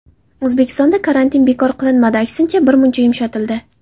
O‘zbekistonda karantin bekor qilinmadi, aksincha, birmuncha yumshatildi.